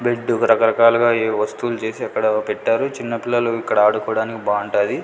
Bed రకరకాలుగా ఏవో వస్తువులు చేసి అక్కడ పెట్టారు చిన్న పిల్లలు ఇక్కడ ఆడుకోడానికి బావుంటాది.